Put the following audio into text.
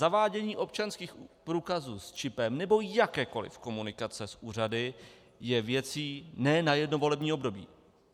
Zavádění občanských průkazů s čipem nebo jakékoliv komunikace s úřady je věcí ne na jedno volební období.